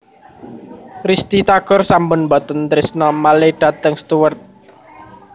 Risty Tagor sampun mboten trisno malih dateng Stuart